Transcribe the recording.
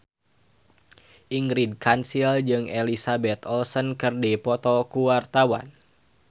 Ingrid Kansil jeung Elizabeth Olsen keur dipoto ku wartawan